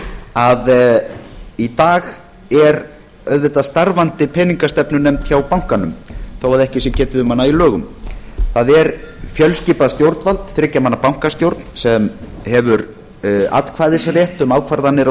að í dag er auðvitað starfandi peningastefnunefnd hjá bankanum þó að ekki sé getið um hana í lögum það er fjölskipað stjórnvald þriggja manna bankastjórn sem hefur atkvæðisrétt um ákvarðanir á